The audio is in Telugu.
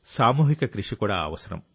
సామూహిక కృషి కూడా అవసరం